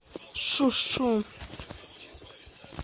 шу шу